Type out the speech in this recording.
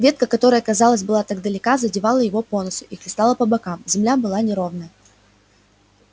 ветка которая казалось была так далека задевала его по носу и хлестала по бокам земля была неровная